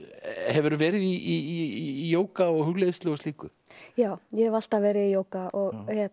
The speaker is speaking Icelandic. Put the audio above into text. hefurðu verið í jóga og hugleiðslu og slíku já ég hef alltaf verið í jóga og